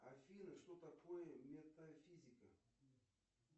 афина что такое метафизика